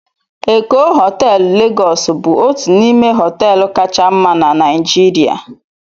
Eko họteelụ Legos bụ otu n'ime họteelụ kacha mma na Naijirịa